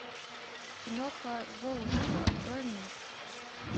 киноха золушка открой мне